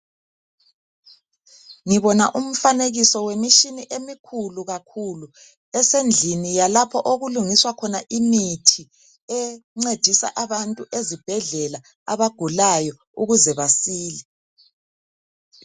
Ngibona umfanekiso wemitshina emikhulu kakhulu esendlini yalapho okulungiswa khona imithi encedisa abantu ezibhedlela abagulayo ukuze basile.